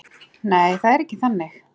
Nei, það er ekki þannig.